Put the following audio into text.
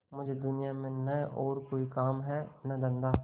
मुझे दुनिया में न और कोई काम है न धंधा